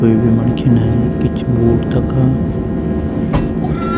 कुई भी मणखी नहीं किच बूट तखा।